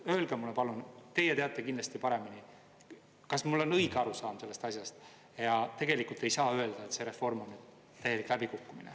Öelge mulle, palun, teie teate kindlasti paremini, kas mul on õige arusaam sellest asjast ja tegelikult ei saa öelda, et see reform on täielik läbikukkumine.